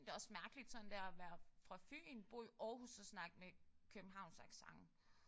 Det også mærkeligt sådan der at være fra Fyn bo i Aarhus og snakke med københavnsk accent